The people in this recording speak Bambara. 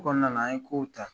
Ko Kɔnɔna na an ɲe kow ta.